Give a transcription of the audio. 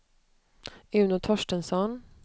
Uno Torstensson